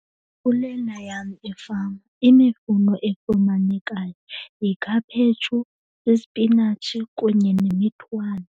Kulena yam ifama imifuno efumanekayo yikhaphetshu, ispinatshi kunye nemithwani.